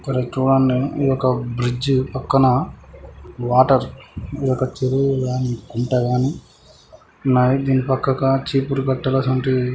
ఇక్కడి ఇది ఒక బ్రిడ్జ్ పక్కన వాటర్ ఈ యొక్క చెరువు గాని గుంట గాని ఉన్నాయి. దీని పక్కక చీపురు కట్టలసొంటి --